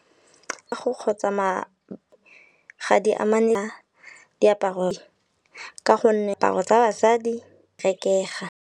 Ka go kgotsama ga di diaparo ka gonne tsa basadi rekega.